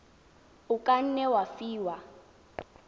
o ka nne wa fiwa